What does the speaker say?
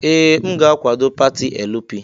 Ee! M ga-akwado pati LP.